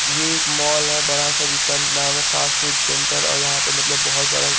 ये एक मॉल है बड़ा सा जिसका नाम है फ़ास्ट फ़ूड सेण्टर और यहा पे मतलब बहोत ज्यादा--